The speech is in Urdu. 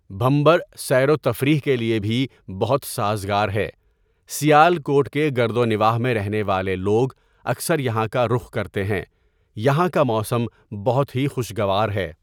بھمبر سیروتفریح کے لیے بھی بہت سازگار ہے، سیالکوٹ کے گردونواٰح میں رہنے والے لوگ اکثر یہاں کا رخ کرتے ہیں یہاں کا موسم بہت ہی خشگوار ہے.